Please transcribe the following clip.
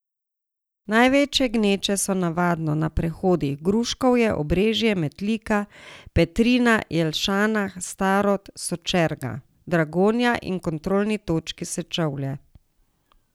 Največje gneče so navadno na prehodih Gruškovje, Obrežje, Metlika, Petrina, Jelšanah, Starod, Sočerga, Dragonja in kontrolni točki Sečovlje.